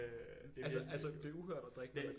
Altså altså det er uhørt at drikke med mælk